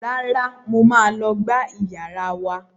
Rárá, mo máa lọ gbá iyàrá wa